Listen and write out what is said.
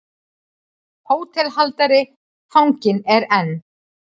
HÓTELHALDARI: Fanginn er enn.